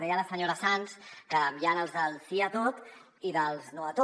deia la senyora sans que hi han els del sí a tot i els del no a tot